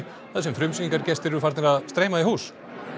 þar sem frumsýningargestir eru farnir að streyma í hús